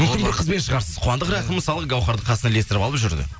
мүмкін бір қызбен шығарсыз қуандық рахым мысалы гауһарды қасына ілестіріп алып жүрді